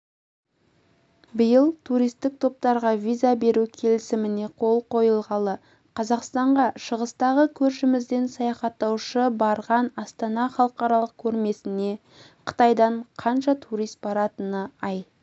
биыл туристік топтарға виза беру келісіміне қол қойылғалы қазақстанға шығыстағы көршімізден саяхаттаушы барған астана халықаралық көрмесіне қытайдан қанша турист баратыны ай